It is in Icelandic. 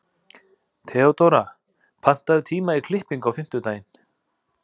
Theodóra, pantaðu tíma í klippingu á fimmtudaginn.